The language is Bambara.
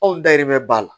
Anw dayirimɛ b'a la